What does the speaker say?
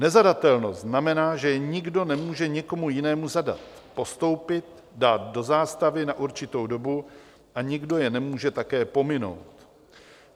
Nezadatelnost znamená, že je nikdo nemůže nikomu jinému zadat, postoupit, dát do zástavy na určitou dobu a nikdo je nemůže také pominout.